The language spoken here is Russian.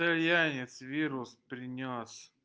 мтальянец вирус принёс